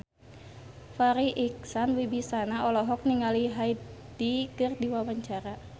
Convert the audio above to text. Farri Icksan Wibisana olohok ningali Hyde keur diwawancara